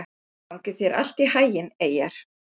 Gangi þér allt í haginn, Eyjar.